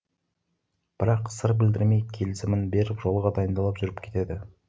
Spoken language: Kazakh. бірақ сыр білдірмей келісімін беріп жолға дайындалып жүріп кетеді